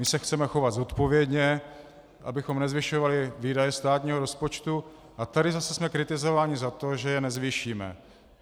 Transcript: My se chceme chovat zodpovědně, abychom nezvyšovali výdaje státního rozpočtu, a tady zase jsme kritizováni za to, že je nezvýšíme.